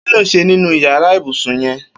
Kiló n ṣé ninú iyàrá ibùsùn yèn